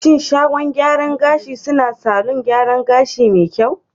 Shin shagon gyaran gashin suna yi salon gyaran gashi me kyau?